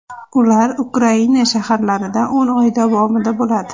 Ular Ukraina shaharlarida o‘n oy davomida bo‘ladi.